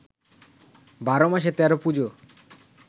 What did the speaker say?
বারো মাসে তেরো পুজো